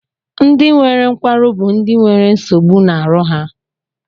Ndị nwere nkwarụ bụ ndị na nwere nsogbu na aru ha.